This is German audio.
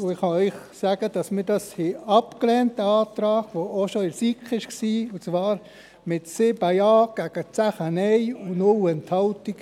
Ich kann Ihnen sagen, dass wir diesen Antrag, der auch schon in der SiK vorlag, abgelehnt haben, und zwar mit 7 Ja gegen 10 Nein bei 0 Enthaltungen.